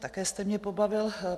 Také jste mě pobavil.